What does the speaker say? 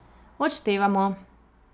Odštevamo.